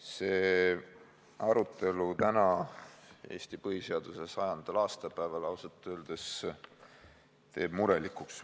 See arutelu täna, Eesti põhiseaduse 100. aastapäeval teeb ausalt öeldes murelikuks.